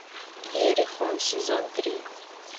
иерихон сезон три